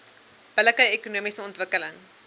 billike ekonomiese ontwikkeling